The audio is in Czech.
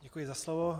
Děkuji za slovo.